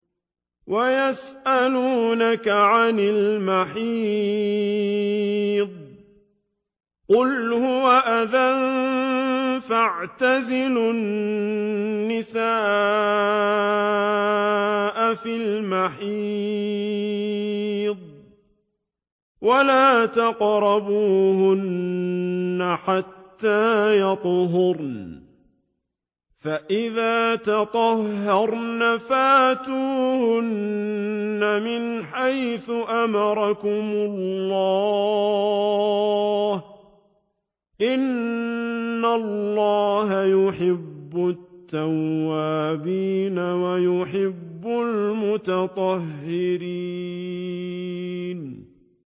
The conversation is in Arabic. وَيَسْأَلُونَكَ عَنِ الْمَحِيضِ ۖ قُلْ هُوَ أَذًى فَاعْتَزِلُوا النِّسَاءَ فِي الْمَحِيضِ ۖ وَلَا تَقْرَبُوهُنَّ حَتَّىٰ يَطْهُرْنَ ۖ فَإِذَا تَطَهَّرْنَ فَأْتُوهُنَّ مِنْ حَيْثُ أَمَرَكُمُ اللَّهُ ۚ إِنَّ اللَّهَ يُحِبُّ التَّوَّابِينَ وَيُحِبُّ الْمُتَطَهِّرِينَ